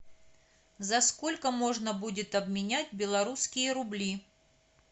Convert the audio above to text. за сколько можно будет обменять белорусские рубли